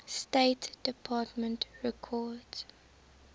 state department records